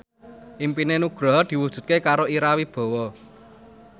impine Nugroho diwujudke karo Ira Wibowo